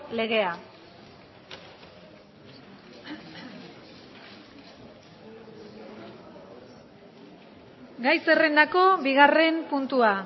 legea gai zerrendako bigarren puntua